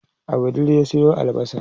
a wudil ya Sayo albasa